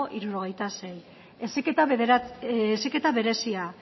hirurogeita sei heziketa berezia